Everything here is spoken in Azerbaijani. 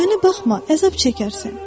Mənə baxma, əzab çəkərsən.